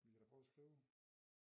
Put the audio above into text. Vi kan da prøve at skrive